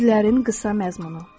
Sirlərin qısa məzmunu.